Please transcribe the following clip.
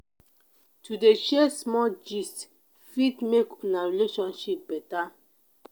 to dey share small gist fit make una relationship beta.